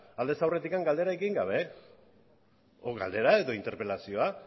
aldez aurretik galderak egin gabe galdera edo interpelazioa